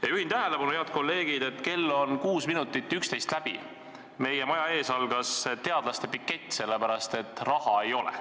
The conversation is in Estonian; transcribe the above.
Ja juhin tähelepanu, head kolleegid, et kell on kuus minutit 11 läbi, meie maja ees algas teadlaste pikett sellepärast, et raha ei ole.